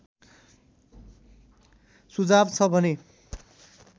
सुझाव छ भने